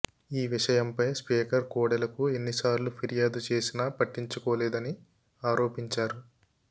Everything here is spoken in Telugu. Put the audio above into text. ఈ విషయంపై స్పీకర్ కోడెలకు ఎన్ని సార్లు ఫిర్యాదు చేసినా పట్టించుకోలేదని ఆరోపించారు